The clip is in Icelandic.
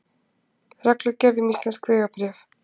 Reglugerð um íslensk vegabréf.